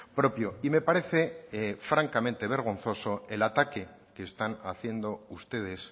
propio y me parece francamente vergonzoso el ataque que están haciendo ustedes